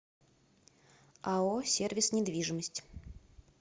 ао сервис недвижимость